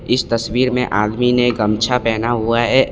इस तस्वीर में आदमी ने गमछा पहना हुआ है।